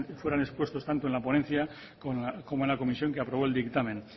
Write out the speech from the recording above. fueron expuestas tanto en la ponencia como en la comisión que aprobó el dictamen